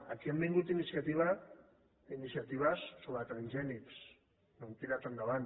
aquí han vingut iniciatives sobre transgènics no han tirat endavant